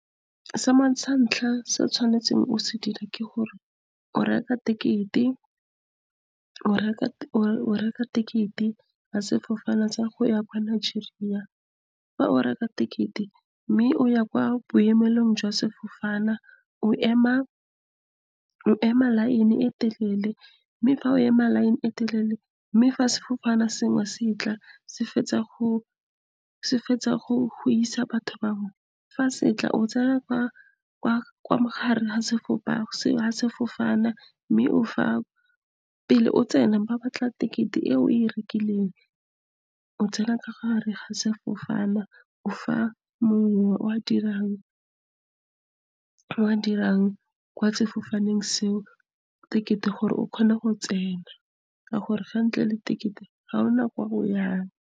sa ntlha se o tshwanetseng o se dire ke gore o reka ticket-e ya sefofane sa go ya kwa Nigeria. Fa o reka ticket-e, mme o ya kwa boemelong jwa sefofane , o ema line e telele. Mme fa o ema line e telele, mme fa sefofane sengwe se tla , se fetsa go isa batho bangwe. Fa se tla, o tsena mo gare ga sefofane. Mme pele o tsena, ba batla ticket-e e o e rekileng. O tsena ka gare ga sefofane, o fa mongwe o a dirang kwa sefofaneng seo ticket-e, gore o kgone go tsena, ka gore ntle le ticket-e ga gona ko .